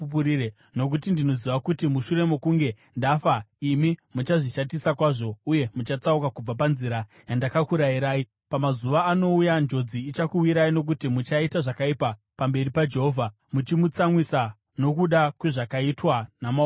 Nokuti ndinoziva kuti mushure mokunge ndafa imi muchazvishatisa kwazvo uye muchatsauka kubva panzira yandakakurayirai. Pamazuva anouya, njodzi ichakuwirai nokuti muchaita zvakaipa pamberi paJehovha muchimutsamwisa nokuda kwezvakaitwa namaoko enyu.”